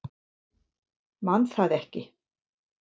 Man það ekki.